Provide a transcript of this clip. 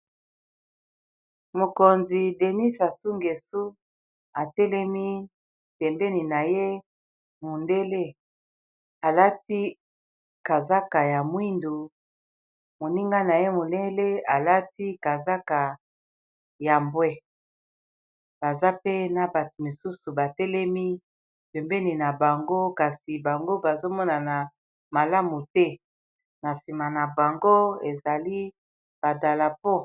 Mokonzi denis asungesu atelemi pembeni na ye mondele alati kazaka ya mwindu moninga na ye molele alati kazaka ya mbwe baza pe na bato mosusu batelemi pembeni na bango kasi bango bazomonana malamu te na nsima na bango ezali badalapo.